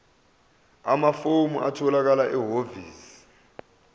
amafomu atholakala ehhovisi